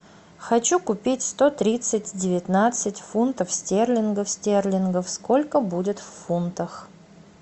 хочу купить сто тридцать девятнадцать фунтов стерлингов стерлингов сколько будет в фунтах